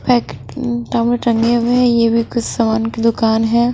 टंगी हई है ये भी कुछ समान की दुकान है।